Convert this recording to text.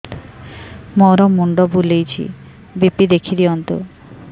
ମୋର ମୁଣ୍ଡ ବୁଲେଛି ବି.ପି ଦେଖି ଦିଅନ୍ତୁ